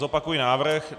Zopakuji návrh.